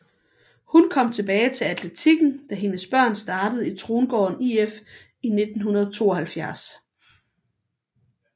Hun kom tilbage til atletiken da hendes børn startede i Trongården IF i 1972